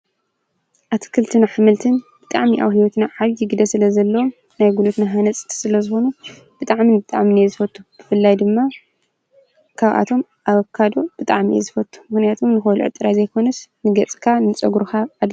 ኣትክልትን ኣሕምልትን ኣብ ሂወትና ብጣዕሚ ዓቢይ ገደ ስለ ዘለወ ናይ ጉልበትና ሃነፂት ሰለዘኮኑ ብጣዕምን ብጣዕምን እየ ዝፎቱ ብፈላይ ድማ ካብኣቶም ኣቫካዶ ብጣዕሚ እየ ዝፉቱ። ምከንያቱ ንክትበልዕ ጥራሓ ዘየኮኖስ ንገፅካን ንፀጉርካን::